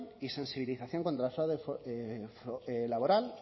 y sensibilización contra el fraude laboral